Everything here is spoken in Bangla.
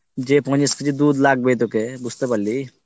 যে তোমার KG দুধ লাগবে তোকে বুজতে পারলি